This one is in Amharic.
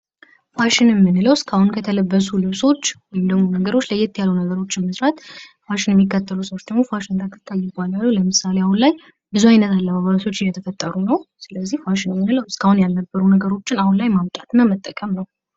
ፋሽን የምንለው እስካሁን ከተለበሱ ልብሶች ወይም ነገሮች ለየት ያሉ ነገሮችን መስራት ፋሽን የሚከተሉ ሰዎች ደግሞ ፋሽን ተከታይ ይባላሉ። ለምሳሌ አሁን ላይ ብዙ አይነት አለባበሶች እየተፈጠሩ ነው። ስለዚህ ፋሽን የምንለው እስካሁን ያልነበሩ ነገሮችን አሁን ላይ ማምጣት እና መጠቀም ነው ።